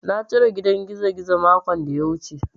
Na cire gidan gizogizo makon da ya wuce.